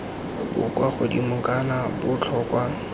bo kwa godimo kana botlhokwa